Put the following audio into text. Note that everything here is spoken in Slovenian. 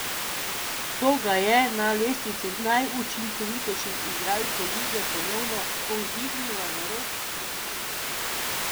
To ga je na lestvici najučinkovitejših igralcev lige ponovno povzdignilo na rob deseterice.